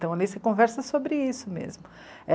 Então ali você conversa sobre isso mesmo.